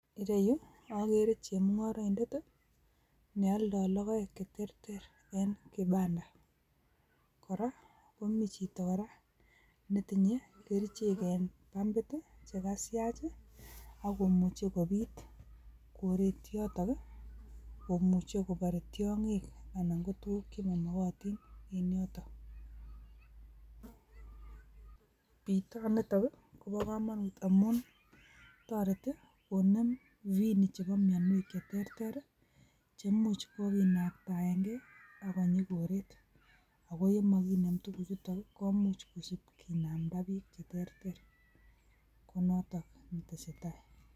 En yu akere chemunngoroindet neoldoo logoek che terter en kibandaa. Ak komiten chito netinye kerichek en pampit chekasiach akomuche kobiit koreet yotok komuche kobar tiongiik anan ko tuguuk chemomokotiin en yotok. Bitonitok koboo komonut amun toretii koneem ainaisiek chebo mionwek cheterter i cheimuch kokinaamdagee okonyii koret, ako yemokineem tukuuchutook komuch kinamda biik che terter. Konotok tesetai